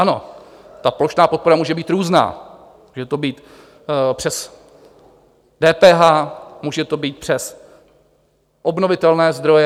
Ano, ta plošná podpora může být různá, může to být přes DPH, může to být přes obnovitelné zdroje.